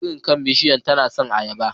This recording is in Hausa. Birin kan bishiyar tana son ayaba.